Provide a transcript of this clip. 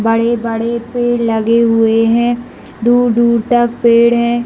बड़े-बड़े पेड़ लगे हुए है दूर-दूर तक पेड़ है।